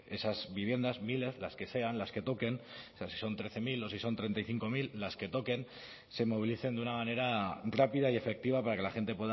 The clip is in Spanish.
esas viviendas miles las que sean las que toquen o sea si son trece mil o si son treinta y cinco mil las que toquen se movilicen de una manera rápida y efectiva para que la gente